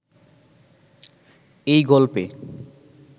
এই গল্পে